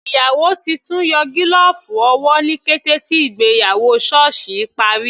Ìyàwó titun yọ gílọ̀ọ̀fù owó ní kété tí ìgbéyàwó sọ́ọ̀sì parí.